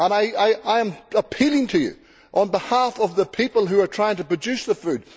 I am appealing to you on behalf of the people who are trying to produce the food.